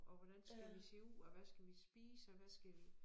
Og hvordan skal vi se ud og hvad skal vi spise og hvad skal vi